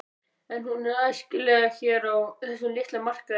En er hún æskileg hér á þessum litla markaði?